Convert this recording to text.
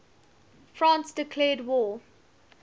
france declared war